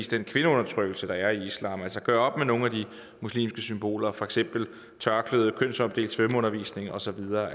den kvindeundertrykkelse der er i islam altså gøre op med nogle af de muslimske symboler for eksempel tørklædet kønsopdelt svømmeundervisning og så videre